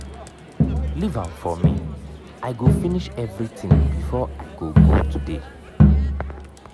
leave am for me i go finish everything before i go go today